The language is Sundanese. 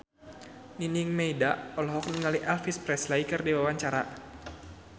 Nining Meida olohok ningali Elvis Presley keur diwawancara